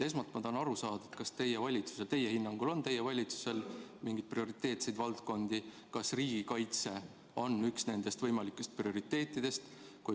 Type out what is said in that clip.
Esmalt ma tahan aru saada, kas teie hinnangul on teie valitsusel mingeid prioriteetseid valdkondi ja kas riigikaitse on üks nendest võimalikest prioriteetidest.